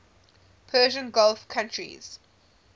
persian gulf countries